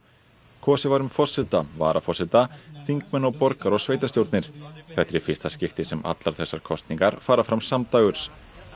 kosið var um forseta varaforseta þingmenn og borgar og sveitarstjórnir þetta er í fyrsta skipti sem allar þessar kosningar fara fram samdægurs